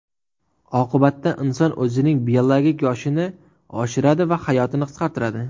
Oqibatda inson o‘zining biologik yoshini oshiradi va hayotini qisqartiradi.